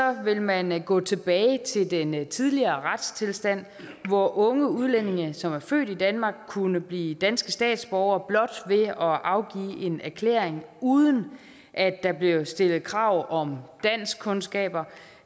vil man gå tilbage til den tidligere retstilstand hvor unge udlændinge som er født i danmark kunne blive danske statsborgere blot ved at afgive en erklæring uden at der blev stillet krav om danskkundskaber